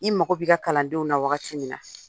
I mago bɛ i ka kalandenw na wagati min na